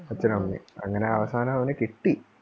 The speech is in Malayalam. അച്ഛനും അമ്മയും അങ്ങനെ അവസാനം അവന് കിട്ടി.